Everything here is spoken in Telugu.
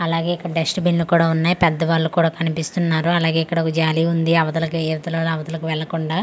అలాగే ఇక్కడ డస్ట్ బిన్లు కూడా ఉన్నాయి పెద్ద వాళ్ళు కూడా కనిపిస్తున్నారు అలాగే ఇక్కడ ఒక జాలి ఉంది అవతాలికి ఇవతాలి వాళ్ళు అవతాలికి వెళ్ళకుండా.